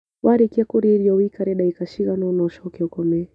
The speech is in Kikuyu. Warĩkia kũrĩa irio wũikare ndagĩka ciagana ũna ũcoke ũkome